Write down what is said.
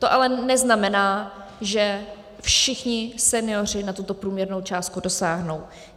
To ale neznamená, že všichni senioři na tuto průměrnou částku dosáhnou.